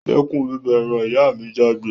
Dẹ́kun bíbọ eran! ìyá mi jágbé